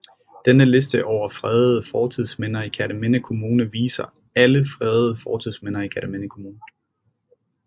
Denne liste over fredede fortidsminder i Kerteminde Kommune viser alle fredede fortidsminder i Kerteminde Kommune